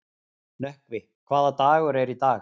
Nökkvi, hvaða dagur er í dag?